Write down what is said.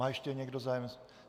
Má ještě někdo zájem?